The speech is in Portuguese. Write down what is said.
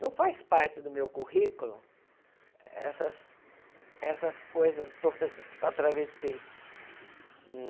Não faz parte do meu currículo, essas essas coisas todas que eu atravessei.